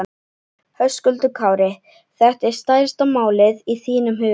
Höskuldur Kári: Þetta er stærsta málið í þínum huga?